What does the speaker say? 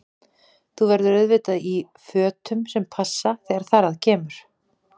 Þú verður auðvitað í fötum sem passa þegar þar að kemur!